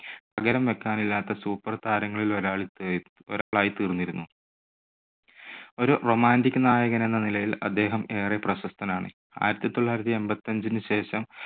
പകരം വെക്കാനില്ലാത്ത super താരങ്ങളിലൊരാൾ ഒരാളായിത്തീർന്നിരുന്നു. ഒരു romantic നായകനെന്ന നിലയിൽ അദ്ദേഹം ഏറെ പ്രശസ്തനാണ്. ആയിരത്തി തൊള്ളായിരത്തി എൺപത്തഞ്ചിനുശേഷം